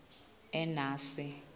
enasi